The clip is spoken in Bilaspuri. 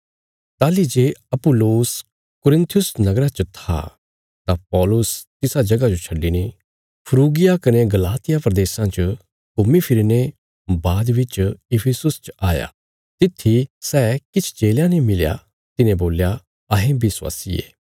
ताहली जे अपुल्लोस कुरिन्थुस नगरा च था तां पौलुस तिसा जगह जो छड्डिने फ्रूगिया कने गलातिया प्रदेशां च घुम्मीफिरीने बाद बिच इफिसुस च आया तित्थी सै किछ चेलयां ने मिलया तिन्हें बोल्या अहें विश्वासी ये